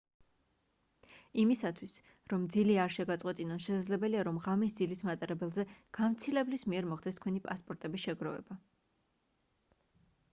იმისათვის რომ ძილი არ შეგაწყვეტინონ შესაძლებელია რომ ღამის ძილის მატარებლებზე გამცილებლის მიერ მოხდეს თქვენი პასპორტების შეგროვება